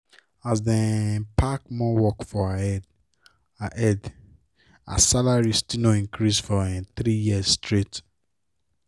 as dem um pack more work for her head her head her salary still no increase for um three years straight